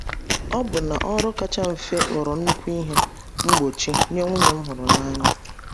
Ọbụna ọrụ kacha mfe ghọrọ nnukwu ihe mgbochi nye nwunye m hụrụ n’anya.